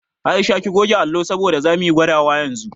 Aisha ki goge allo saboda zamu yi gwadawa yanzu